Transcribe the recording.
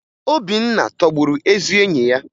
Obinna tọgburu ezi enyi ya